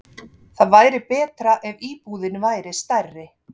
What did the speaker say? Það væri betra ef íbúðin væri stærri.